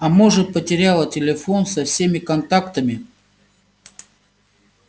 а может потеряла телефон со всеми контактами